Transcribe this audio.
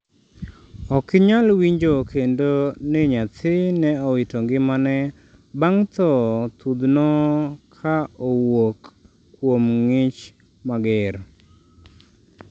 ok inyal winjo kendo ni nyathi ne owito ngimane bang' tho thudhno ka owuok kuom ng'ich mager